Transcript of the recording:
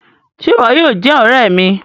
Ṣe ìwò yóò jé òré mí?